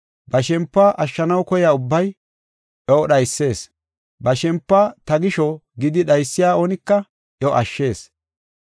Ba shempiw ashshanaw koya ubbay iyo dhaysees, ba shempiw ta gisho gidi dhaysiya oonika iyo ashshees.